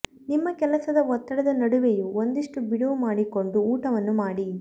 ನಿಮ್ಮ ಕೆಲಸದ ಒತ್ತಡದ ನಡುವೆಯೂ ಒಂದಿಷ್ಟು ಬಿಡುವು ಮಾಡಿಕೊಂಡು ಊಟವನ್ನು ಮಾಡಿ